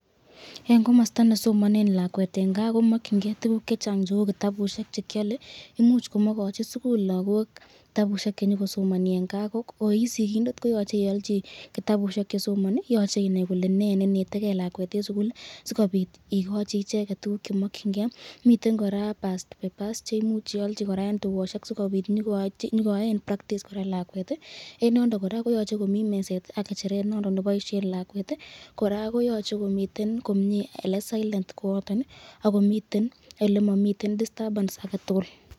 En komosto nesomonen lakwet en kaa komokying'e tukuk chechang cheuu kitabushek chekiole, imuch komokochi sukul lokok kitabushek chenyokosomoni en kaa ko koisikindet koyoche iolchi kitabushek chesomoni, yoche inaii kolee nee nenetekee lakwet en sukul sikobit ikochi icheket tukuk chemokying'ee, miten kora past papers cheimuch iolchi en tukoshek sikobit konyokoyoen practice kora lakwet en en yundon kora koyoche komii meset ak ng'echeret nondon neboishen lakwet, kora koyoche komiten komie elee silent koyoton ak komiten elemomiten disturbance aketukul.